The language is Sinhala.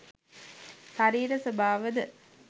ශරීර ස්වභාවද